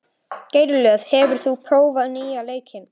Grélöð, hefur þú prófað nýja leikinn?